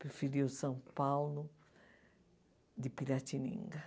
Preferia o São Paulo de Piratininga.